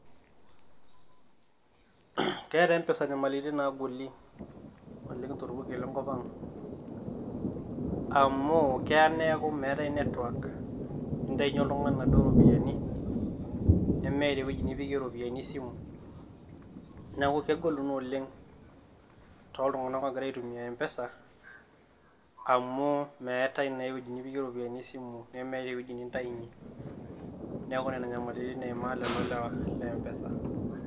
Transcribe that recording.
Keeta MPESA nyamaritin naagoli oleng tolpurkel le nkop ang. Amu keya niaku meetae network, nintayunyie oltung`ani naduo rropiyiani nemeeta ewueji nipikie irropiyiani esimu. Neeku kegolu naa oleng too iltung`anak oogira aitumia MPESA,. Amu meetae naa ewueji nipikie iropiyiani e simu nemeetae ewueji nintayunyie. Niaku nena nyamaritin eimaa lele lewa le MPESA.